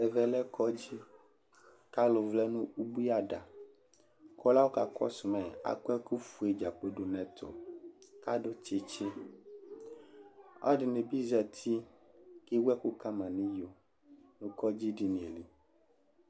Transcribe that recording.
Ɛvɛ lɛ kɔdzɩ kʋ alʋ vlɛ nʋ ubui ada kʋ ɔlʋ yɛ kʋ ɔkakɔsʋ ma yɛ akɔ ɛkʋfue dza kplo dʋ nʋ ɛtʋ kʋ adʋ tsɩtsɩ Ɔlɔdɩnɩ bɩ zati kʋ ewu ɛkʋ ka ma nʋ iyo nʋ kɔdzɩdini yɛ li